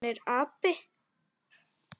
Hann er api.